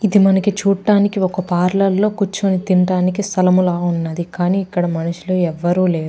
ఇది మనకి చూడ్డానికి ఒక పార్లర్ లో కూర్చొని తింటానికి స్థలము లా ఉన్నది కానీ ఇక్కడ మనుషులు ఎవ్వరు లేరు.